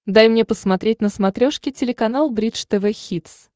дай мне посмотреть на смотрешке телеканал бридж тв хитс